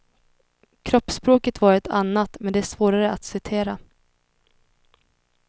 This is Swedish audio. Kroppsspråket var ett annat, men det är svårare att citera.